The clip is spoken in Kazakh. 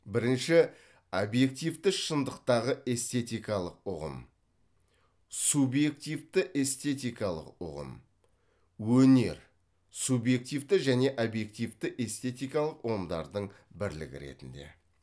бірінші объективті шындықтағы эстетикалық ұғым субъективті эстететикалық үғым өнер субъективті және объективті эстетикалық ұғымдардың бірлігі ретінде